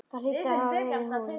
Það hlýtur að hafa verið hún.